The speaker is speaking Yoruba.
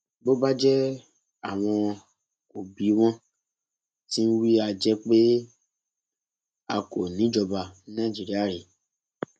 bó bá jẹ àwọn kò bí wọn ti ń wí a jẹ pé a kò ń ìíjọba ní nàìjíríà rèé